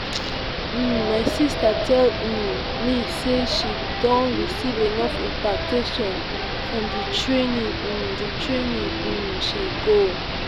um my sister tell um me say she don receive enough impactation from the training um the training um she go